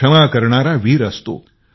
क्षमा करणारा वीर असतो